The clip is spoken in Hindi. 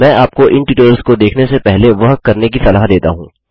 मैं आपको इन ट्यूटोरियल्स को देखने से पहले वह करने की सलाह देता हूँ